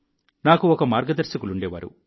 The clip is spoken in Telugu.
నాకు ఒక మార్గదర్శకులుండేవారు